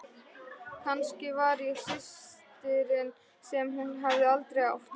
Kannski var ég systirin sem hún hafði aldrei átt.